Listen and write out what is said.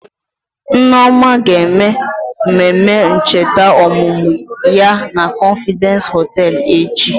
Nneoma ga-eme mmemme ncheta ọmụmụ ya na confidence hoteelu echi.